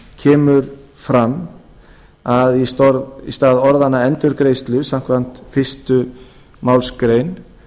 kemur fram að í stað orðanna endurgreiðslu samkvæmt fyrstu málsgrein